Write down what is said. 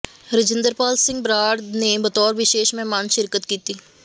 ਰਾਜਿੰਦਰਪਾਲ ਸਿੰਘ ਬਰਾੜ ਨੇ ਬਤੌਰ ਵਿਸ਼ੇਸ਼ ਮਹਿਮਾਨ ਸ਼ਿਰਕਤ ਕੀਤੀ